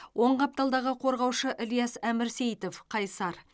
оң қапталдағы қорғаушы ілияс әмірсейітов қайсар